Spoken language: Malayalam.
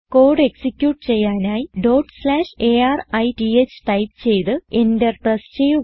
കോഡ് എക്സിക്യൂട്ട് ചെയ്യാനായി arith ടൈപ്പ് ചെയ്ത് എന്റർ പ്രസ് ചെയ്യുക